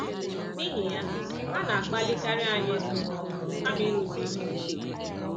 N’ihi ya, a na-akpalikarị anyị ịzụ ihe ọhụrụ kama ịrụzi ihe ochie.